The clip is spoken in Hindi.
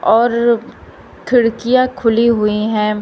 और खिड़कियां खुली हुई हैं।